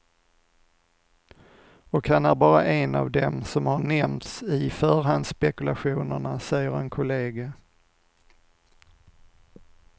Och han är bara en av dem som har nämnts i förhandsspekulationerna, säger en kollega.